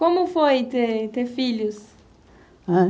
Como foi ter ter filhos? Ãh